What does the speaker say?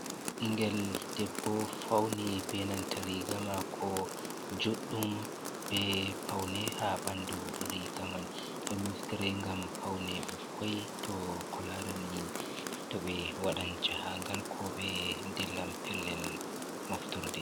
Ɓingel debbo fauni benanta riga mako juɗɗum be paune ha ɓandu riga man. Ɗon naftire ngam paune ɓikkoi to ko larani to ɓe waɗan jahagal ko ɓe dillan pellel moftorde.